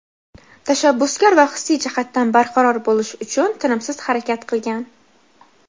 tashabbuskor va hissiy jihatdan barqaror bo‘lish uchun tinimsiz harakat qilgan.